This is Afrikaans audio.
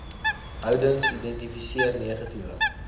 houdings identifiseer negatiewe